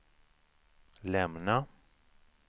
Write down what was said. lämna